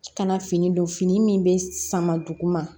Kana fini don fini min bɛ sama duguma